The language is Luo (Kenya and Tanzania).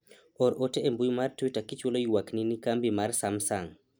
or ote e mbui mar twita kichwalo ywakni na kambi mar samsung